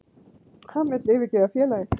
Hann vill yfirgefa félagið.